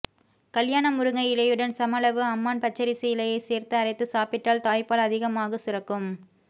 கல்யாண முருங்கை இலையுடன் சம அளவு அம்மான் பச்சரிசி இலையைச் சேர்த்து அரைத்துச் சாப்பிட்டால் தாய்ப்பால் அதிகாமாகச் சுரக்கும்